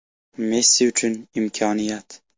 Messi uchun imkoniyat.